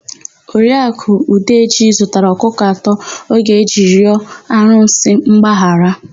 Oriaku Udeji zụtara ọkụkọ atọ ọ ga-eji rịọ arụsị mgbaghara.